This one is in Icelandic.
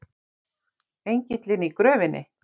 ENGILLINN Í GRÖFINNI.